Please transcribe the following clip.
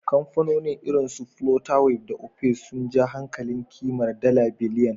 Kamfanoni irin su Flutterwave da Opay sun ja hankalin kimar dala biliyan,